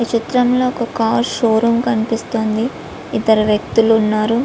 ఈ చిత్రంలో ఒక కార్ షో రూమ్ కనిపిస్తోంది. ఇద్దరూ వ్యక్తులు ఉన్నారు.